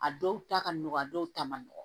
A dɔw ta ka nɔgɔn a dɔw ta man nɔgɔ